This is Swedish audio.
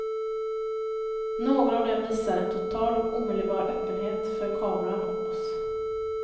Några av dem visar en total och omedelbar öppenhet för kameran och oss.